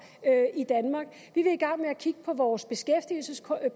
i vil i gang med at kigge på vores beskæftigelsespolitik